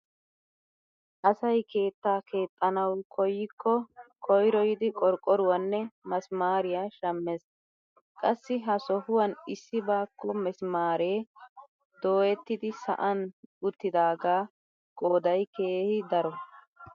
Asay keettaa keexxanawu koyikko koyroyyidi qorqqoruwaanne masimaariyaa shammees. Qassi ha sohuwaan issi baakko misimaaree dooyettidi sa'an uttidagaa qooday keehi daro.